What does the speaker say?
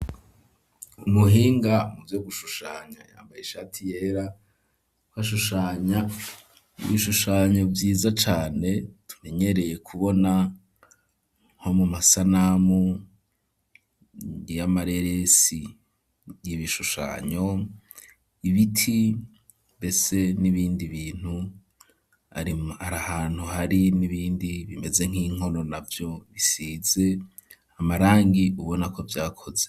Umuhinga mu vyo gushushanya yambaye ishati yera, ashushana ibishushanyo vyiza cane tumenyereye kubona, nko mu masanamu y'amareresi y'ibishushanyo, ibiti mbese n'ibindi bintu ,ari ahantu hari n'ibindi bimeze nk'inkono navyo bisize amarangi ubona ko vyakoze.